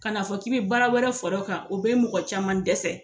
Ka na fɔ k'i bɛ baara wɛrɛ fara o kan o bɛ mɔgɔ caman dɛsɛ.